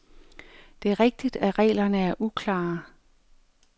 Det er rigtigt, at reglerne er uklare.